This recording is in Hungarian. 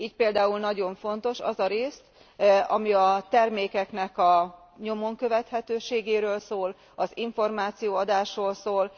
Így például nagyon fontos az a rész, ami a termékeknek a nyomon követhetőségéről, az információadásról szól.